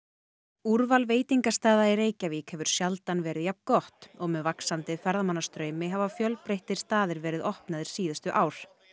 úrval veitingastaða í Reykjavík hefur sjaldan verið jafn gott og með vaxandi ferðamannastraumi hafa fjölbreyttir staðir verið opnaðir síðustu ár